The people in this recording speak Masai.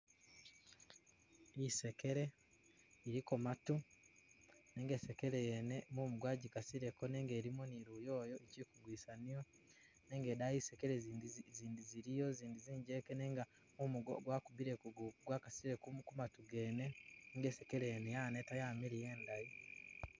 Isekele iliko maatu nenga isekele yene mumu gwagikasileko nenga ilimo ni liyoyo ichili kugwisa niyo nenga idaayi zisekele zindi ziliyo zinjenke nenga mumu gwakubile gwakasile ku maatu gene nga isekele yene yaneta yamiliya indayi,